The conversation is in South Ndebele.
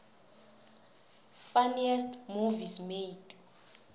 funniest movies made